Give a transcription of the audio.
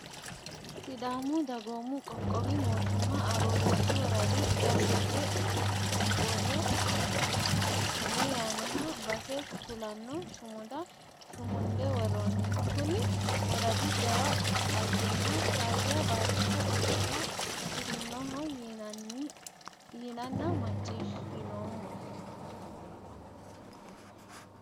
Sidaamu dagoomu qoqqowi mootimma Aroorreesu woradi gashshote borro mine yaannoha base kulano sumuda sumunde woronni kuni woradi jawa dhaggenna faayya baattote ofolla afirinoho yinanna macciishshinoommo.